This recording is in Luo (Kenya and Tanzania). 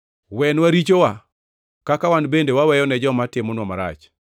Wenwa richowa, kaka wan bende waweyone joma timonwa marach.